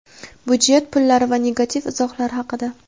budjet pullari va negativ izohlar haqida.